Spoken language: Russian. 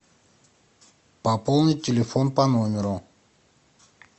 пополнить телефон по номеру